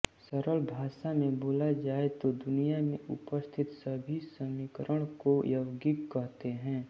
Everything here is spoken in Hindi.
सरल भाषा में बोला जाए तो दुनिया में उपस्थित सभी समीकरण को यौगिक कहते हैं